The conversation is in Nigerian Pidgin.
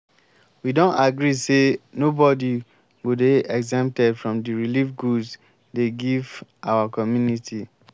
we don agree say nobody go dey exempted from the relieve goods dey give our community